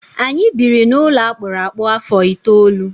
Anyị biri n'ụlọ akpụrụ akpụ afọ itoolu.